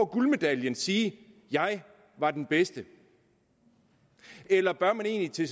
guldmedaljen sige jeg var den bedste eller bør man egentlig